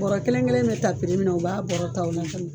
Bɔrɔ kelen kelen bɛ ta pri min na, u b'a bɔrɔ ta o la.